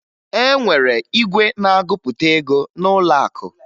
E nwere igwe na-agụpụta ego n'ụlọakụ